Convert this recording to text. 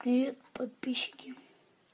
привет подписчики